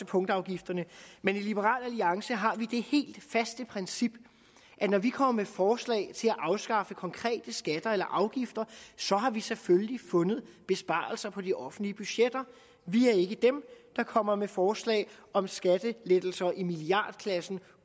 punktafgifterne men i liberal alliance har vi det helt faste princip at når vi kommer med forslag til at afskaffe konkrete skatter eller afgifter så har vi selvfølgelig fundet besparelser på de offentlige budgetter vi er ikke dem der kommer med forslag om skattelettelser i milliardklassen